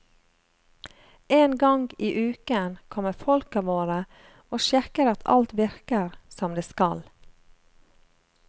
En gang i uken kommer folka våre og sjekker at alt virker som det skal.